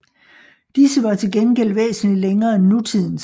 Disse var til gengæld væsentlig længere end nutidens